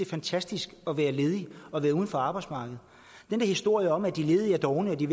fantastisk at være ledig og være uden for arbejdsmarkedet den der historie om at de ledige er dovne og at de